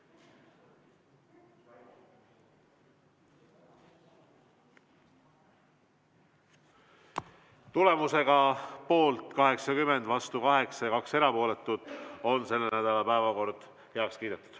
Tulemusega poolt 80, vastu 8 ja 2 erapooletut on selle nädala päevakord heaks kiidetud.